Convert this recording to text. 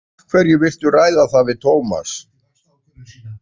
Af hverju viltu ræða það við Tómas?